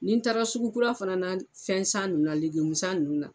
Nin taara sugu kura fana na fɛn san nunnu na san nunnu na.